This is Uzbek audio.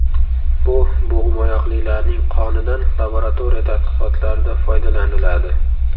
Bu bo‘g‘imoyoqlilarning qonidan laboratoriya tadqiqotlarida foydalaniladi.